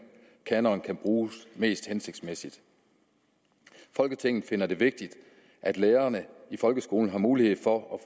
kanonerne kan bruges mest hensigtsmæssigt folketinget finder det vigtigt at lærerne i folkeskolen har mulighed for